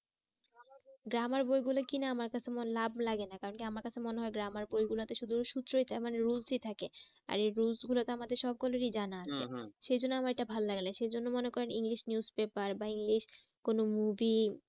Grammar বই গুলো কিনা আমার কাছে মোর লাভ লাগে না কারণ কি আমার কাছে মনে হয় grammar বই গুলোতে শুধু সূত্রই মানে rules ই থাকে। আর এই rules গুলোতো আমাদের সকলেই জানা সেই জন্য আমার এটা ভালো লাগে না সেই জন্য মনে করেন english news paper বা english কোনো movie